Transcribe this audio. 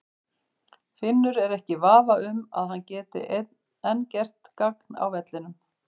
Finnur er ekki í vafa um að hann gæti enn gert gagn á vellinum.